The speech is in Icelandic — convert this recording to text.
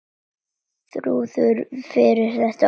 Þrúður finnur réttu orðin.